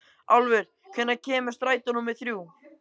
Álfur, hvenær kemur strætó númer þrjú?